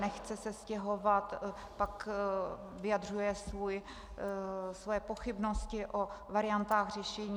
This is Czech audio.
Nechce se stěhovat, pak vyjadřuje svoje pochybnosti o variantách řešení.